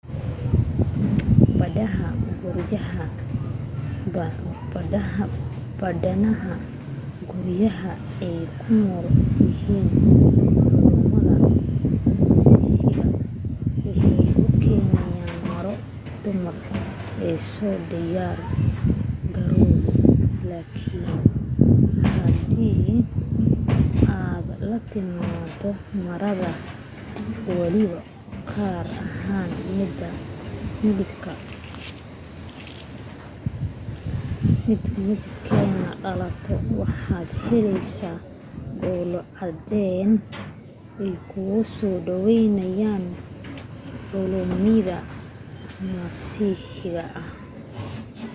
badana guryaha ay ku nool yahiin culumida masiixiga waxay u keenan maro dumarka an soo diyaar garoobin laakin hadii aad la timaado maradaada weliba gaar ahaan mid mdiabkeega dhalaalayo waxaad heleysa dhoolo cadeen ay kugu soo dhaweynayaan culumida masiixiga ah